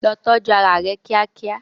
Lọ tọ́jú ara rẹ kíákíá.